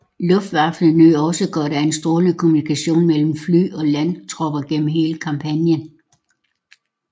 Luftwaffe nød også godt af en strålende kommunikation mellem fly og landtropper gennem hele kampagnen